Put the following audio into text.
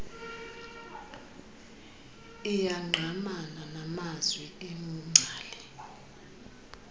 iyangqamana namazwi engcali